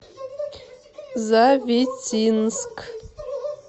завитинск